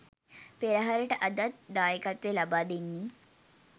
පෙරහරට අදත් දායකත්වය ලබා දෙන්නේ